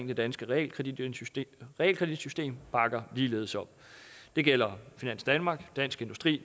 det danske realkreditsystem realkreditsystem bakker ligeledes op det gælder finans danmark dansk industri